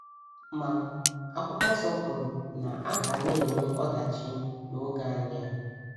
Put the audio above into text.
Ma ,akwụkwọ nso kwuru na a ga na - enwe ọdachi n’oge anyị a.